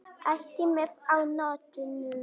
Ekki með á nótunum.